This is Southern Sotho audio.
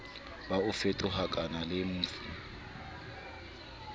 bo fetohakang le f ho